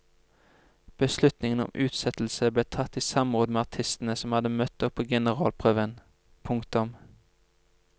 Beslutningen om utsettelse ble tatt i samråd med artistene som hadde møtt opp på generalprøven. punktum